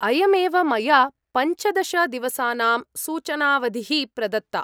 अयमेव, मया पञ्चदश दिवसानां सूचनावधिः प्रदत्ता।